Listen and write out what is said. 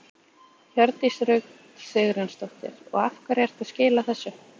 Hjördís Rut Sigurjónsdóttir: Og af hverju ertu að skila þessu?